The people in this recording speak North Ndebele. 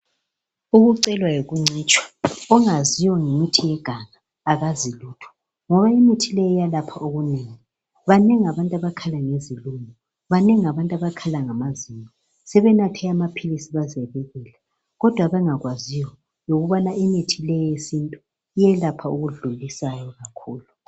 Ukucela yikuncitshwa ongaziyo ngemithi yeganga akazi lutho imithi leyi iyelapha okunengi banengi abantu abakhala ngezilumo, banengi abakhala ngamazinyo sebenathe amaphilisi baze bekela kodwa abangakwaziyo yikubana imithi le eyesintu iyelapha okudlulisayo kakhulu